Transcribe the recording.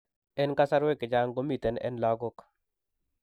En kasarwek chechang komiten en lagok